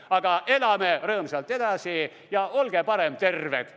Aga elame rõõmsalt edasi ja olge parem terved!